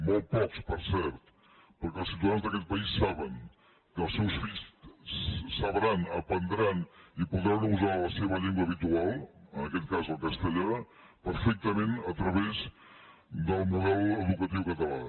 molt pocs per cert perquè els ciutadans d’aquest país saben que els seus fills sabran aprendran i podran usar la seva llengua habitual en aquest cas el castellà perfectament a través del model educatiu català